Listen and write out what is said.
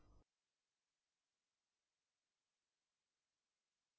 और यह आपका पसंदीदा मेसेज भी पास करेगा